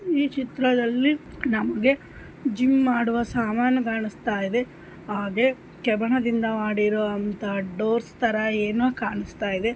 ಈ ಚಿತ್ರದಲ್ಲಿ ನಮಗೆ ಜಿಮ್ ಮಾಡುವ ಸಾಮಾನುಗಳುಸ್ತಾಯಿದೆ ಹಾಗೆ ಕವನದಿಂದ ಮಾಡಿರುವಂತಹ ಡೋರ್ಸ್ ತರ ಏನು ಕಾಣಿಸ್ತಾ ಇದೆ.